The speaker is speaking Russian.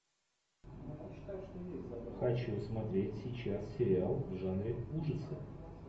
хочу смотреть сейчас сериал в жанре ужасы